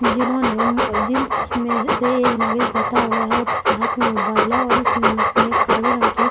जिन्होंने एक नागरिक बैठ हुआ है और उसके हाथ में मोबाईल है और इसने काले रंग की--